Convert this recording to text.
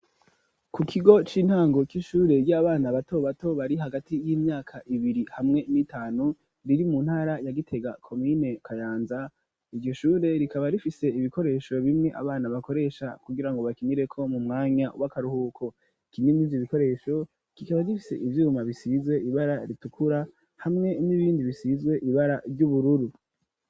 Ku kigo c'intango c'ishure ry'abana batobato bari hagati y'imyaka ibiri hamwe n'itanu riri mu ntara ya Gitega komine Kayanza, iryo shure rikaba rifise ibikoresho bimwe abana bakoresha kugira ngo bakinireko mu mwanya w'akaruhuko, kimwe muri ivyo bikoresho kikaba bifise ivyuma bisizwe ibara ritukura hamwe n'ibindi bisizwe ibara ry'ubururu.